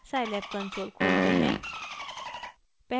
scilab console खोलते हैं